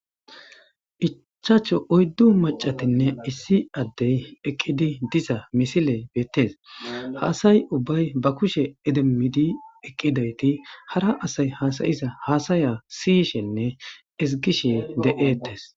Ichaacho oyddu macatinne issi addey eqqidi diza misile beettes haasay ubbay ba kushe edemmidi eqqidayti hara asay haasayiza haasaya siyishenne esgishe de7ettes.